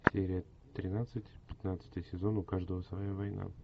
серия тринадцать пятнадцатый сезон у каждого своя война